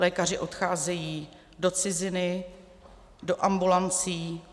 Lékaři odcházejí do ciziny, do ambulancí.